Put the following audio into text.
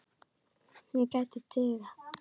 Hún gæti dugað.